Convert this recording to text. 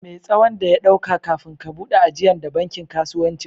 Me' tsawon da ya ɗauka kafifin ka bude ajian de bankin kasuwancin??